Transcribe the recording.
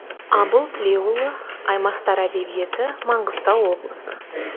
абыл тілеуұлы аймақтар әдебиеті маңғыстау облысы